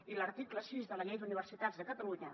i l’article sis de la llei d’universitats de catalunya